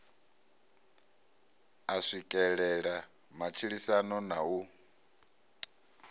a swikelele matshilisano na u